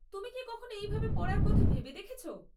তুমি কি কখনো এইভাবে পড়ার কথা ভেবে দেখেছ?